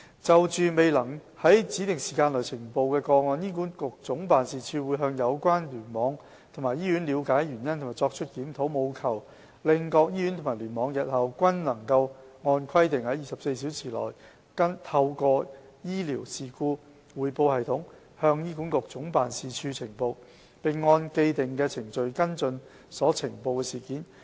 就着未能於指定時間內呈報的個案，醫管局總辦事處會向有關聯網及醫院了解原因及作出檢討，務求令各醫院及聯網日後均能按規定於24小時內透過醫療事故匯報系統向醫管局總辦事處呈報，並按既定程序跟進所呈報的事件。